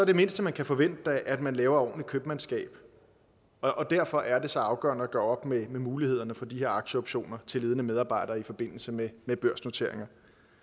det mindste man kan forvente da at man laver ordentligt købmandskab og derfor er det så afgørende at gøre op med mulighederne for de her aktieoptioner til ledende medarbejdere i forbindelse med med børsnoteringer